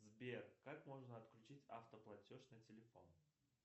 сбер как можно отключить автоплатеж на телефон